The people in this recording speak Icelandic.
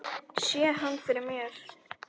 Sé hann fyrir mér.